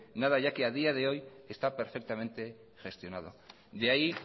nada ya que a día de hoy está perfectamente gestionado de ahí